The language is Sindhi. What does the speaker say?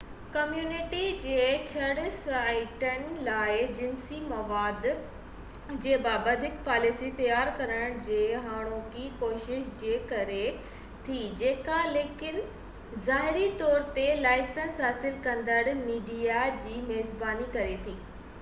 ڪميونٽي جي چڙ سائيٽن لاءِ جنسي مواد جي بابت هڪ پاليسي تيار ڪرڻ جي هاڻوڪي ڪوشش جي ڪري ٿي جيڪا لکين ظاهري طور تي لائسنس حاصل ڪندڙ ميڊيا جي ميزباني ڪري ٿي